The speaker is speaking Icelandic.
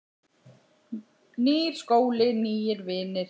Nýr skóli, nýir vinir.